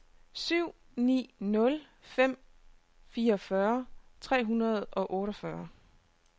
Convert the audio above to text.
syv ni nul fem fireogfyrre tre hundrede og otteogfyrre